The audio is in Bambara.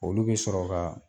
Olu bɛ sɔrɔ ka